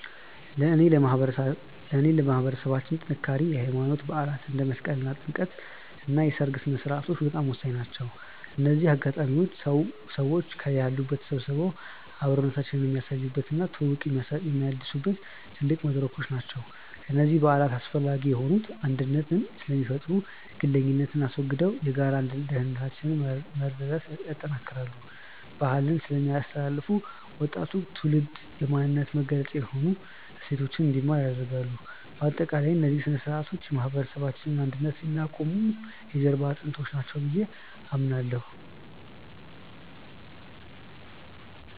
ለእኔ ለማህበረሰባችን ጥንካሬ የሃይማኖት በዓላት (እንደ መስቀልና ጥምቀት) እና የሰርግ ሥነ-ሥርዓቶች በጣም ወሳኝ ናቸው። እነዚህ አጋጣሚዎች ሰዎች ከያሉበት ተሰባስበው አብሮነታቸውን የሚያሳዩባቸው እና ትውውቅ የሚያድሱባቸው ትልቅ መድረኮች ናቸው። እነዚህ በዓላት አስፈላጊ የሆኑት አንድነትን ስለሚፈጥሩ፦ ግለኝነትን አስወግደው የጋራ ደስታንና መረዳዳትን ያጠናክራሉ። ባህልን ስለሚያስተላልፉ፦ ወጣቱ ትውልድ የማንነት መገለጫ የሆኑ እሴቶችን እንዲማር ያደርጋሉ። ባጠቃላይ፣ እነዚህ ሥነ-ሥርዓቶች የማህበረሰባችንን አንድነት የሚያቆሙ የጀርባ አጥንቶች ናቸው ብዬ አምናለሁ።